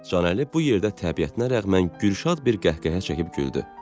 Canəli bu yerdə təbiətinə rəğmən gülşad bir qəhqəhə çəkib güldü.